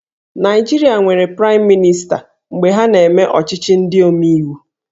Naịjirịa nwere Praịm Mịnịsta mgbe ha na-eme ọchịchị ndị omeiwu